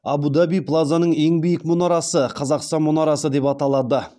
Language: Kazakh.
абу даби плазаның ең биік мұнарасы қазақстан мұнарасы деп аталады